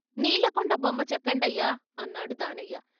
"నీళ్ళకుండ బొమ్మ చెక్కండయ్యా " అన్నాడు దానయ్య.